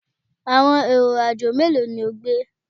Awọn ero-ajo melo ni o gbe?